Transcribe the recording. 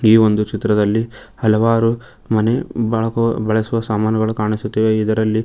ಈ ಒಂದು ಚಿತ್ರದಲ್ಲಿ ಹಲವಾರು ಮನೆ ಬಳಕು ಬಳಸುವ ಸಾಮಾನು ಕಾಣಿಸುತ್ತಿವೆ ಇದರಲ್ಲಿ--